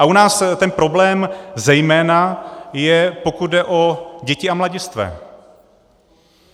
A u nás ten problém zejména je, pokud jde o děti a mladistvé.